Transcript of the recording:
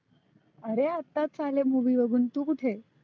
आरे आतच आले movie बघुन. तु कुठे आहे?